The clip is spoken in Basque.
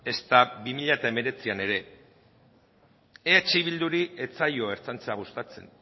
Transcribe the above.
ezta bi mila hemeretzian ere eh bilduri ez zaio ertzaintza gustatzen